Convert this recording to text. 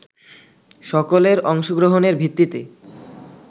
সকলের অংশগ্রহণের ভিত্তিতে